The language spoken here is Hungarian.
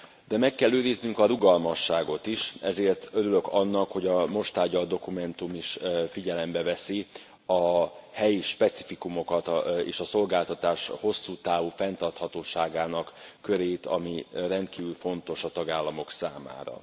De meg kell őriznünk a rugalmasságot is, ezért örülök annak, hogy a most tárgyalt dokumentum is figyelembe veszi a helyi specifikumokat, és a szolgáltatás hosszú távú fenntarthatóságának körét, ami rendkívül fontos a tagállamok számára.